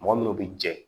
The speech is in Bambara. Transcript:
Mɔgɔ minnu bɛ jɛ